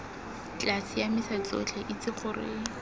tla siamisa tsotlhe itse gore